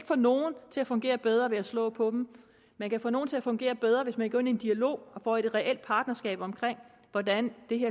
få nogen til at fungere bedre ved at slå på dem man kan få nogle til at fungere bedre hvis man går ind i en dialog med og får et reelt partnerskab om hvordan det